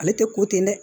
Ale tɛ ko ten dɛ